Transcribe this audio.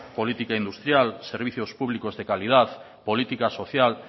política industrial servicios públicos de calidad política social